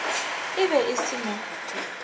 e be e se mo